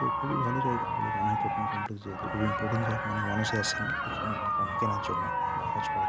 তো খুবই ভাল জায়গা বলে মনে হত শপিং কমপ্লেক্স যেহেতু খুব ইম্পর্টেন্ট জায়গা অনেক মানুষই আসেন এখানে অনেক কেনার জন্য বা কাজ করার জন্য --